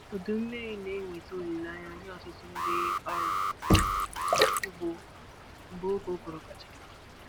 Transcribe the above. Udu mmiri na-eweta olileanya nye ọtụtụ ndị ọrụ ugbo mgbe oge ụguru gachara.